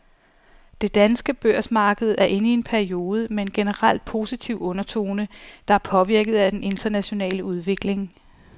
Det danske børsmarked er inde i en periode med en generelt positiv undertone, der er påvirket af den internationale udvikling.